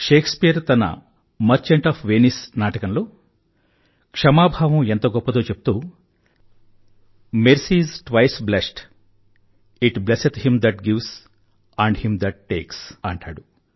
Shakespeare తన Merchant of Venice నాటకంలో క్షమాభావం ఎంత గొప్పదో చెప్తూ mercy is twice blest it blesseth him that gives and him that takes అంటాడు